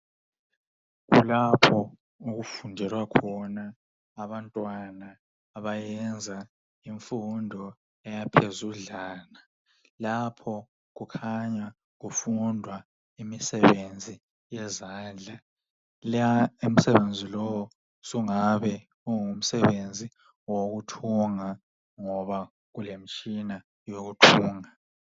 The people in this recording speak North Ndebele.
kulapho okufundelwa khona abantwana abayenza imfundo yaphezudlwana lapho kukhanya kufundwa imisebenzi yezandla la umsebenzi lowu usunga ngabe ungumsebenzi wokuthunga ngoba kulemitshina yokuthunga